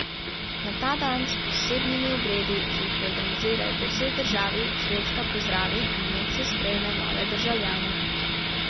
Na ta dan s posebnimi obredi, ki jih organizirajo po vsej državi, Švedska pozdravi in medse sprejme nove državljane.